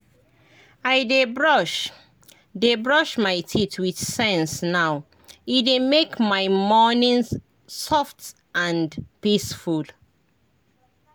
i dey brush dey brush my teeth with sense now — e dey make my morning soft and peaceful.